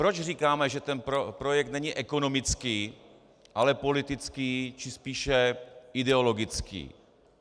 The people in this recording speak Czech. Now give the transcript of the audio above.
Proč říkáme, že ten projekt není ekonomický ale politický, či spíše ideologický?